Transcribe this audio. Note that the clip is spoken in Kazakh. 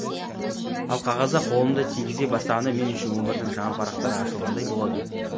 ал қағазға қолымды тигізе бастағанда мен үшін өмірдің жаңа парақтары ашылғандай болады